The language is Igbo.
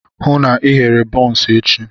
Hụụ na Ị ghere bọns echi!